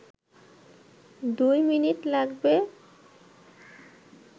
দুই মিনিট লাগবে